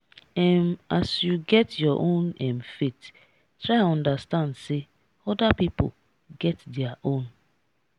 um as you get your own um faith try understand sey oda pipo get their own.